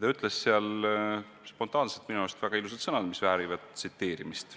Ta ütles seal spontaanselt minu arust väga ilusad sõnad, mis väärivad tsiteerimist: